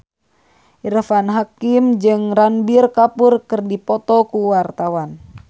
Irfan Hakim jeung Ranbir Kapoor keur dipoto ku wartawan